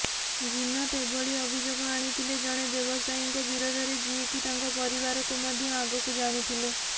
ଜିନତ ଏଭଳି ଅଭିଯୋଗ ଆଣିଥିଲେ ଜଣେ ବ୍ୟବସାୟୀଙ୍କ ବିରୋଧରେ ଯିଏକି ତାଙ୍କ ପରିବାରକୁ ମଧ୍ୟ ଆଗରୁ ଜାଣିଥିଲେ